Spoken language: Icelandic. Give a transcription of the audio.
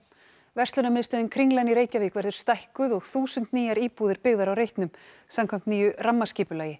verslunarmiðstöðin Kringlan í Reykjavík verður stækkuð og þúsund nýjar íbúðir byggðar á reitnum samkvæmt nýju rammaskipulagi